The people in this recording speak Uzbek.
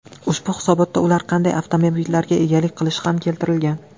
Ushbu hisobotda ular qanday avtomobillarga egalik qilishi ham keltirilgan.